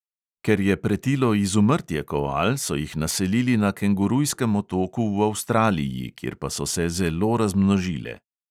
Ker je pretilo izumrtje koal, so jih naselili na kengurujskem otoku v avstraliji, kjer pa so se zelo razmnožile.